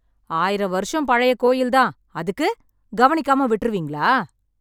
ஆயிரம் வருஷம் பழைய கோயில் தான். அதுக்கு, கவனிக்காம விட்டுருவீங்களா?